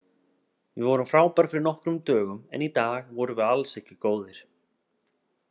Við vorum frábærir fyrir nokkrum dögum en í dag vorum við alls ekki góðir.